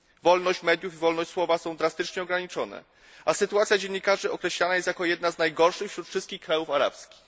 Wolność mediów i wolność słowa są drastycznie ograniczone, a sytuacja dziennikarzy określana jest jako jedna z najgorszych wśród wszystkich krajów arabskich.